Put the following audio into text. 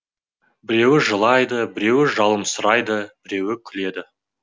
біреуі жылайды біреуі жыламсырайды біреуі күледі